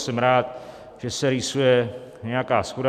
Jsem rád, že se rýsuje nějaká shoda.